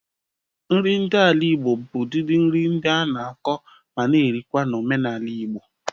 Nri ndị ala Igbo bụ udịdị nri ndị a na-akọ ma na erikwa na omenala Igbo.